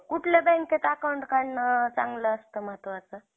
त्याच्याशी बोली काय करताय